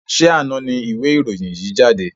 Ṣé àna ni ìwé ìròyìn yìí jáde?